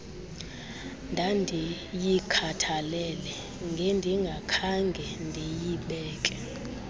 ndandiyikhathalele ngendingakhange ndinibeke